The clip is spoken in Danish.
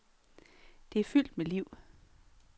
Det er fyldt med liv.